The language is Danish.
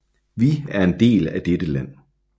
Vi er en del af dette land